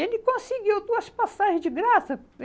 Ele conseguiu duas passagem de graça.